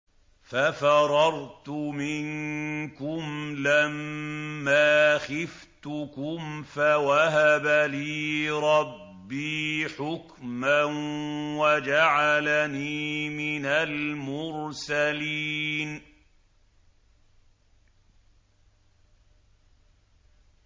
فَفَرَرْتُ مِنكُمْ لَمَّا خِفْتُكُمْ فَوَهَبَ لِي رَبِّي حُكْمًا وَجَعَلَنِي مِنَ الْمُرْسَلِينَ